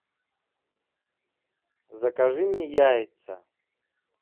закажи мне яйца